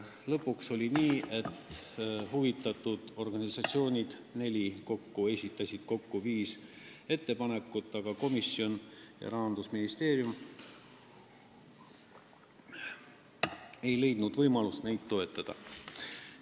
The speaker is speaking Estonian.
Lõpuks oli nii, et neli huvitatud organisatsiooni esitasid kokku viis ettepanekut, aga komisjon ja Rahandusministeerium ei leidnud võimalust neid toetada.